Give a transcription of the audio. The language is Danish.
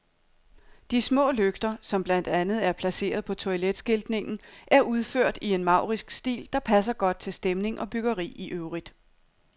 De små lygter, som blandt andet er placeret på toiletskiltningen, er udført i en maurisk stil, der passer godt til stemning og byggeri i øvrigt.